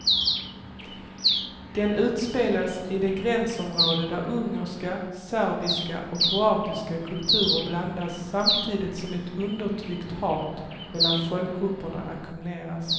Den utspelas i det gränsområde där ungerska, serbiska och kroatiska kulturer blandas samtidigt som ett undertryckt hat mellan folkgrupperna ackumuleras.